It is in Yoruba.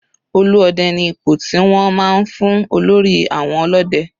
Olú Ọdẹ ni ipò tí wọ́n máa ń fún olórí àwọn ọlọ́dẹ.